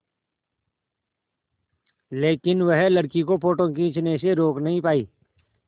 लेकिन वह लड़की को फ़ोटो खींचने से रोक नहीं पाई